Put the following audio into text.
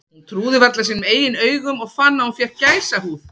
Hún trúði varla sínum eigin augum og fann að hún fékk gæsahúð.